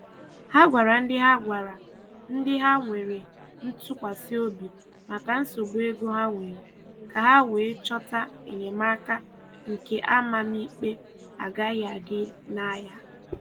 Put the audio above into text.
Ha gwara ndị Ha gwara ndị ha nwere ntụkwasị obi maka nsogbu ego ha nwere, ka ha wee chọta enyemaka nke amamikpe agaghị adị na ya.